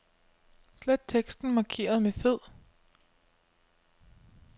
Slet teksten markeret med fed.